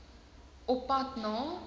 op pad na